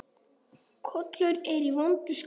Kolur er í vondu skapi.